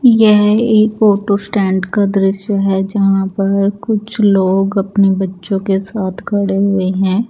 यह एक photo stand का दृश्य हैं जहाँ पर कुछ लोग अपने बच्चो के साथ खड़े हुए हैं।